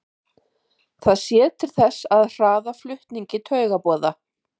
Það sér til þess að hraða flutningi taugaboða.